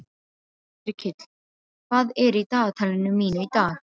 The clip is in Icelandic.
Yrkill, hvað er í dagatalinu mínu í dag?